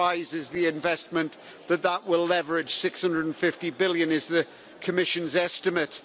The prize is the investment that that will leverage EUR 650 billion is the Commission's estimate.